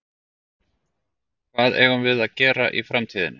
Hvað eigum við að gera í framtíðinni?